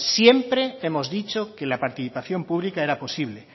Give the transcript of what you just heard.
siempre hemos dicho que la participación pública era posible